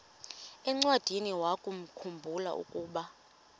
encwadiniwakhu mbula ukuba